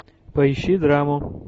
поищи драму